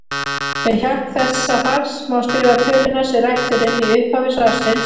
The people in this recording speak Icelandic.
Með hjálp þessa falls má skrifa töluna sem rætt er um í upphafi svarsins sem